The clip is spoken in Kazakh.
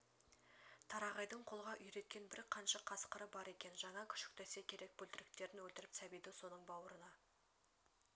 тарағайдың қолға үйреткен бір қаншық қасқыры бар екен жаңа күшіктесе керек бөлтіріктерін өлтіріп сәбиді соның бауырына